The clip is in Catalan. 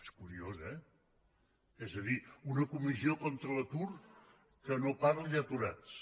és curiós eh és a dir una comissió contra l’atur que no parli d’aturats